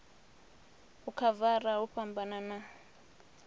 u khavara hu fhambana u